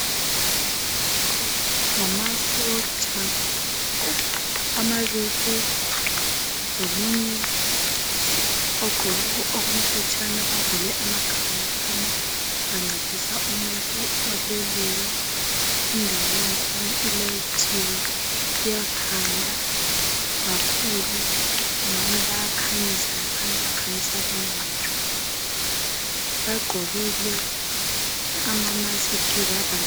Ngamasotsha amabili lomunye ogqoke okumhlotshana bavale amakhala laphana bancedisa umuntu oleleyo indawo yakhona ilayithiwe iyakhanya kakhulu kungani bayakhanyisa laphana bakhanyisa lowu muntu bagqokile ama musk bavala.